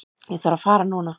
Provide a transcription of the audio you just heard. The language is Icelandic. Ég þarf að fara núna